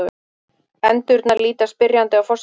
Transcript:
Endurnar líta spyrjandi á forsetann.